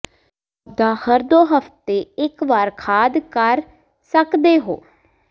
ਪੌਦਾ ਹਰ ਦੋ ਹਫ਼ਤੇ ਇਕ ਵਾਰ ਖਾਦ ਕਰ ਸਕਦੇ ਹੋ